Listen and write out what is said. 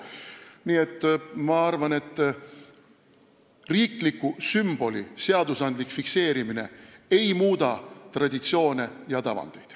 Nii et ma arvan, et riikliku sümboli fikseerimine seaduses ei muuda traditsioone ega tavandeid.